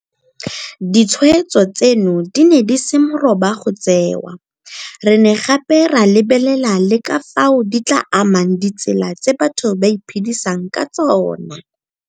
Ditshweetso tseno di ne di se moroba go tseewa, re ne gape ra lebelela le ka fao di tla amang ditsela tseo batho ba iphedisang ka tsona.